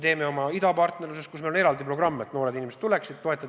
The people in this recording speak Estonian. Meil on idapartnerluse raames eraldi programm, et noored inimesed tuleksid siia õppima.